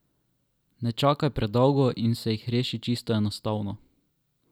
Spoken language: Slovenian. Ne čakaj predolgo in se jih reši čisto enostavno!